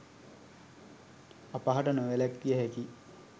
අපහට නොවැළැක්විය හැකියි.